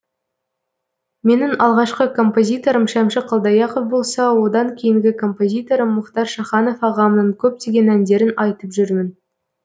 менің алғашқы композиторым шәмші қалдаяқов болса одан кейінгі композиторым мұхтар шаханов ағамның көптеген әндерін айтып жүрмін